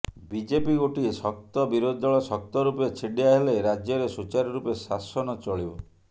BJP ଗୋଟିଏ ଶକ୍ତ ବିରୋଧୀ ଦଳ ଶକ୍ତ ରୂପେ ଛିଡ଼ିାହେଲେ ରାଜ୍ୟରେ ସୁଚାରୁରୂପେ ଶାସନ ଚଳିବ